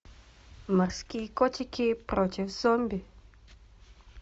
морские котики против зомби